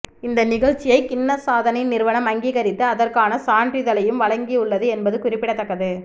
இந்த நிகழ்ச்சியை கின்னஸ் சாதனை நிறுவனம் அங்கீகரித்து அதற்கான சான்றிதழையும் வழங்கியுள்ளது என்பது குறிப்பிடத்தக்கது